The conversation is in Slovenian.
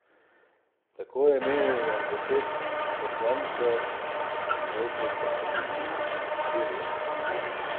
Tako je menilo deset poslancev, proti pa so bili štirje.